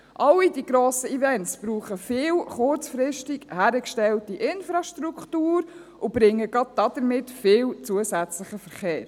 All die grossen Events brauchen viel kurzfristig hingestellte Infrastruktur und bringen gerade damit viel zusätzlichen Verkehr.